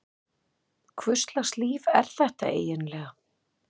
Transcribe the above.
Hvurslags líf er þetta eiginlega?